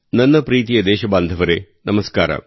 ನನ್ನ ಪ್ರೀತಿಯ ದೇಶಬಾಂಧವರೆ ನಮಸ್ಕಾರ